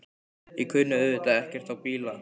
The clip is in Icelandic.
Ég kunni auðvitað ekkert á bíla.